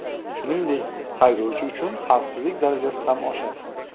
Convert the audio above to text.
Shuningdek, haydovchi uchun xavfsizlik darajasi ham oshadi.